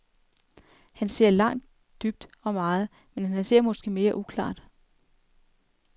Han ser langt, dybt, og meget, men han ser måske mere uklart.